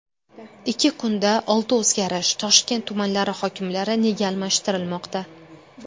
Ikki kunda olti o‘zgarish: Toshkent tumanlari hokimlari nega almashtirilmoqda?